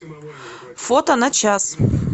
фото на час